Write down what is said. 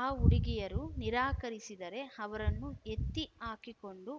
ಆ ಹುಡುಗಿಯರು ನಿರಾಕರಿಸಿದರೆ ಅವರನ್ನು ಎತ್ತಿ ಹಾಕಿಕೊಂಡು